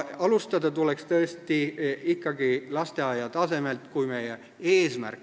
Alustada tuleks tõesti lasteaia tasemelt.